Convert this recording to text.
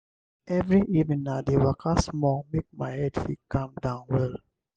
every evening i dey waka small make my head fit calm down well.